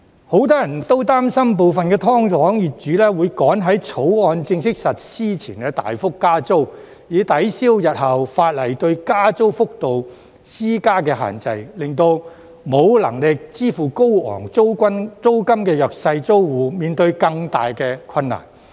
很多人都擔心部分"劏房"業主會趕在《條例草案》正式實施前大幅加租，以抵銷日後法例對加租幅度施加的限制，令沒有能力支付高昂租金的弱勢租戶面對更大困難。